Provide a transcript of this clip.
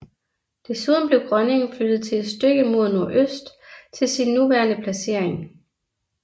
Desuden blev Grønningen flyttet et stykke mod nordøst til sin nuværende placering